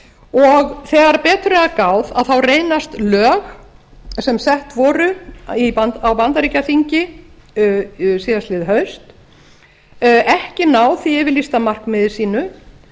og þegar betur er að gáð þá reynast lög sem sett voru á bandaríkjaþingi síðastliðið haust ekki ná því yfirlýsta markmiði sínu